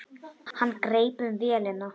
Hann greip um vélina.